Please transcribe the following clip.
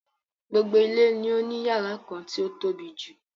Gbogbo ilé ni ó ní yàrá kan tí o tóbijù.